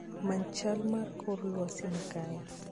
Many chal mar kor lwasi makae